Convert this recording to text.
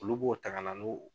Olu b'o ta ka na n'o